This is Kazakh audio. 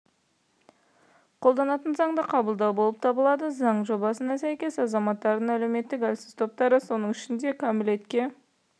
қолданатын заңды қабылдау болып табылады заң жобасына сәйкес азаматтардың әлеуметтік әлсіз топтары соның ішінде кәмелетке